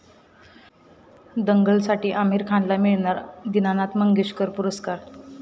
दंगल'साठी आमिर खानला मिळणार दीनानाथ मंगेशकर पुरस्कार